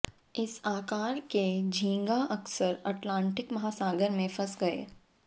इस आकार के झींगा अक्सर अटलांटिक महासागर में फंस गए